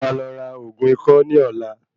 Mo máa lọ ra ògún ikọ́ ní ọ̀la.